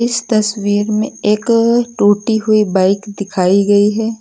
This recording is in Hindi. इस तस्वीर में एक टूटी हुई बाइक दिखाई गई है।